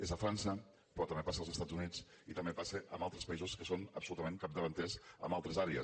és a frança però també passa als estats units i també passa en altres països que són absolutament capdavanters en altres àrees